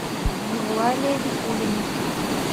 евлалия викулина